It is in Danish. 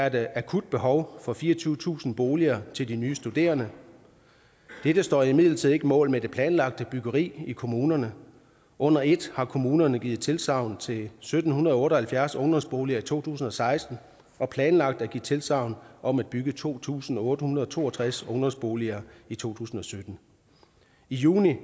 et akut behov for fireogtyvetusind boliger til de nye studerende dette står imidlertid ikke mål med det planlagte byggeri i kommunerne under et har kommunerne givet tilsagn til sytten otte og halvfjerds ungdomsboliger i to tusind og seksten og planlagt at give tilsagn om at bygge to tusind otte hundrede og to og tres ungdomsboliger i to tusind og sytten i juni